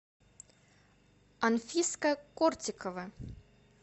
анфиска кортикова